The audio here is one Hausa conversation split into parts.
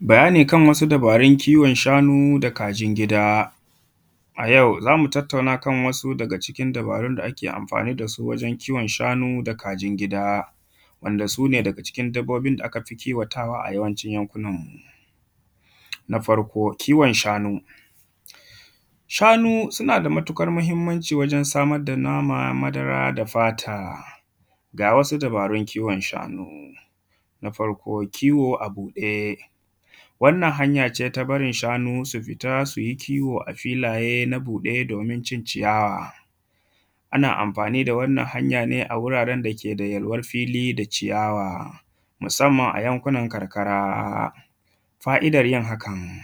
Bayani kan wasu dabarun kiwon shanu da kajin gida. A yau za mu tattauna kan wasu dabarun da ake anfani da su wajen kiwon shanu da kajin gida wanda su ne daga cikin dabbobin da aka fi kiwatawa a cikin yankunanmu, na farko kiwon shanu, shanu suna da matuƙar mahinmanci wajen samar da nama da madara da fata. Ga wasu dabarun kiwon shanu na farko kiwo a buɗe, wannan hanya ce ta barin shanu su fita kiwo a filaye domin cin ciyawa, ana anfani da wannan hanya ne a wuraren da ke da yalwan fili da ciyawa musanman a yankunan karkara. Fa’idan yin hakan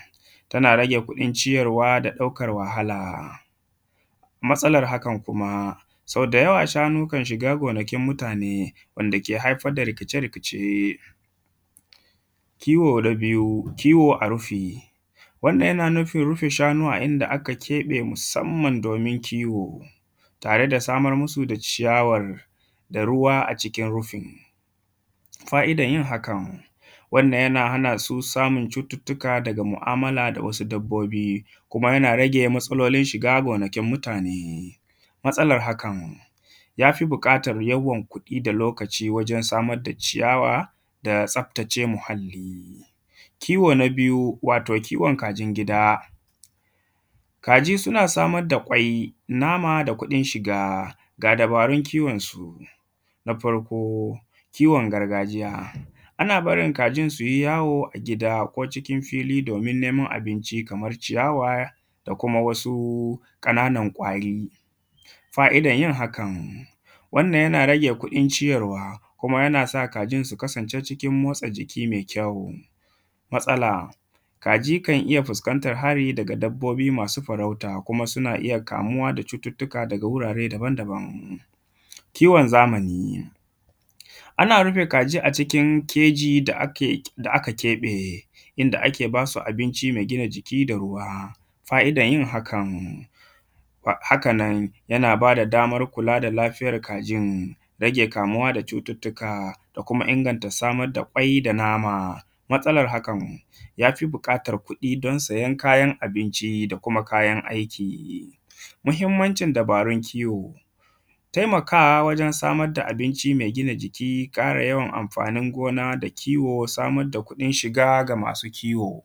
tana rage kuɗin ciyarwa da ɗaukan wahala, matsalan hakan kuma sau da yawa shanu kan shiga gonakin mutane wanda ke haifar da rikice-rikice, kiwo na biyu kiwo a rufe, wannan yana nufin rife shanu a inda aka keɓe musanman domin kiwo tare da samar musu da ciyawar da ruwa a rufin. Fa’idan yin hakan, wannan yana hana su samun cututtuka daga mu’amala da wasu dabbobi kuma yana rage matsalolin shiga gonakin mutane, matsalan hakan ya fi buƙatan yawan kuɗi da lokacin wurin samar da ciyawan da tsaftace muahalli. Kiwo na biyu wato kiwon kajin gida, kaji suna samar da kwai, nama da kuɗin shiga ga dabarun kiwonsu na farko kiwon gargajiya ana barin kajin su yi yawo a gida ko cikin fili me faɗi don neman abinci kaman ciyawa da kuma wasu ƙananan kwari, fa’idan yin hakan wannan yana rage kuɗin ciyarwa kuma yana sa kajin su kasance cikin motsa jiki me kyau. Matsala kaji kan iya fuskantan hari daga dabbobi masu farauta kuma suna iya kamuwa da cututtuka daga wurare daban-daban, kiwon zamani ana rife kaji cikin keji da aka keɓe inda ake ba su abinci me gina jiki da ruwa, fa’idan yin hakan, haka nan yana ba da daman kula da lafiyan kajin rage kamuwa da cututtuka da kuma ingangta samar da kwai da nama, matsalan hakan ya fi buƙatar kuɗin don siyan kayan abinci da kuma kayan aiki. Muhinmancin dabarun kiwo, taimakawa wajen samar da abinci me gina jiki da ƙara yawan anfanin gona da kiwo da samar da kuɗin shiga ga masu kiwo.